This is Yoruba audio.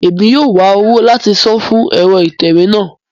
Emi yóò wa owo lati san fun ẹrọ itẹwe náà